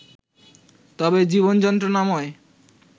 তবে জীবন যন্ত্রণাময়